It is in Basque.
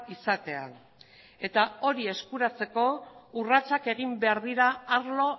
izatea eta hori eskuratzeko urratsak egin behar dira arlo